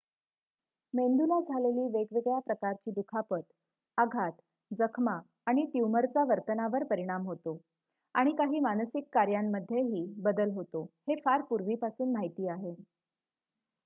मेंदूला झालेली वेगवेगळ्या प्रकारची दुखापत आघात जखमा आणि ट्यूमरचा वर्तनावर परिणाम होतो आणि काही मानसिक कार्यांमध्येही बदल होतो हे फार पूर्वीपासून माहिती आहे